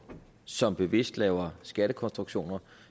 som bevidst laver skattekonstruktioner